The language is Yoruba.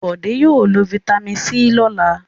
Bọ̀dé yóò lo fataímìn C lọ́la.